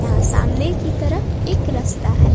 यहां सामने की तरफ एक रस्ता है।